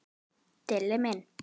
Dilli minn.